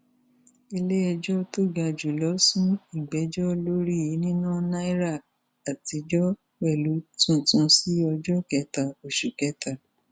iléẹjọ tó ga jù lọ sún ìgbẹjọ lórí níná naira àtijọ pẹlú tuntun sí ọjọ kẹta oṣù kẹta